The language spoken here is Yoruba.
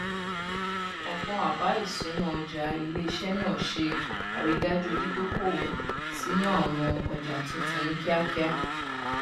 ọgbọn àbá ìṣúná ọjà iléiṣẹ náà ṣe àrídájú dídókòwò sínú àwọn ọjà tuntun ní kíakíá